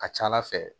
A ka ca ala fɛ